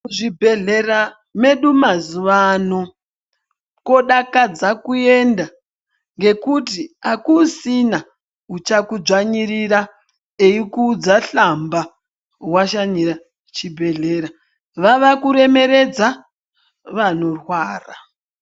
Muzvibhedhera medu mazuvano, kodakadza kuenda ngekuti hakusisina uchakudzvanyirira eikuudza hlamba washanyira chibhedhlera. Vava kuremeredza vanorwara.